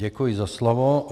Děkuji za slovo.